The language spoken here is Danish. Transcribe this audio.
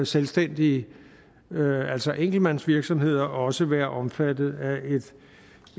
selvstændige altså enkeltmandsvirksomheder også være omfattet af